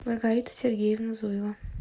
маргарита сергеевна зуева